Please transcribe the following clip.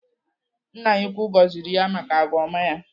Nna ya ukwuu gọziri ya maka agwa ọma ya.